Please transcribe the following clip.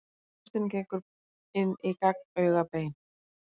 Hlustin gengur inn í gagnaugabein.